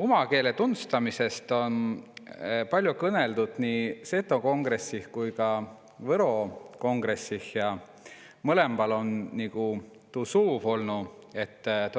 Uma keele tunstamise teemat om kõnõlnu nii Seto Kongress kui Võro Kongress ja mõlõmba tahtva tuud, õt